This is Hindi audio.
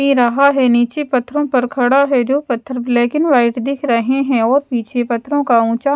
ये रहा है नीचे पत्थरों पर खड़ा है जो पत्थर ब्लैकिन व्हाइट दिख रहे है और पीछे पत्थरों का ऊंचा--